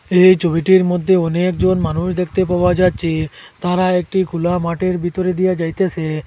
এই ছবিটির মধ্যে অনেকজন মানুষ দেখতে পাওয়া যাচ্ছে তারা একটি খুলা মাঠের ভিতরে দিয়া যাইতেসে।